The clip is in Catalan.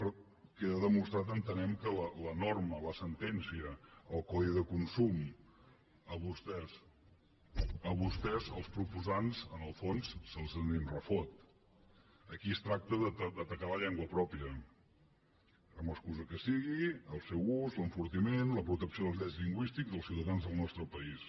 però queda demostrat entenem que la norma la sentència el codi de consum a vostès els proposants en el fons se’ls en refot aquí es tracta d’atacar la llengua pròpia amb l’excusa que sigui al seu gust l’enfortiment la protecció dels drets lingüístics dels ciutadans del nostre país